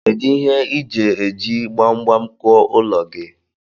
Kedu ihe ije iji gbagbam kuụọ ụlọ gi?